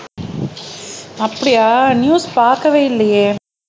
அப்படியா நியூஸ் பார்க்கவே இல்லையே